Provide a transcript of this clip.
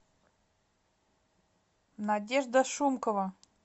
надежда шумкова